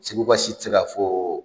Seguka si tɛ se k'a fɔ o!